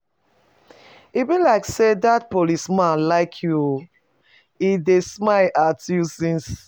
E be like say dat policeman like you oo, he dey smile at you since.